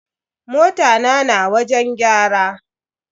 Mota na na wajen gyara.